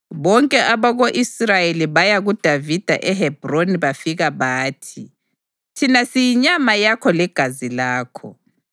Bonke abako-Israyeli baya kuDavida eHebhroni bafika bathi: “Thina siyinyama yakho legazi lakho.